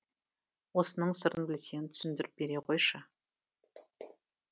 осының сырын білсең түсіндіріп бере қойшы